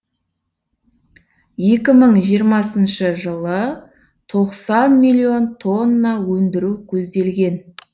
екі мың жиырмасыншы жылы тоқсан миллион тонна өндіру көзделген